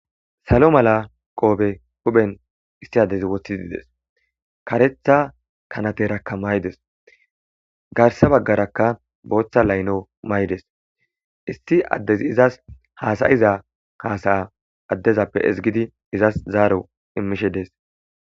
Salo mala qope huphen issi adezi wothidi Des. Karetha kanateraka mayides, garsa bagaraka bootha layilo mayides, issi adezi izasi hasa'iza hasa'a adezappe ezigid ezas zaro imishe Des.